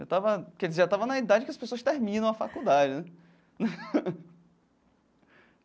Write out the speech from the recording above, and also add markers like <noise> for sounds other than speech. Eu estava quer dizer já estava na idade que as pessoas terminam a faculdade, né? <laughs>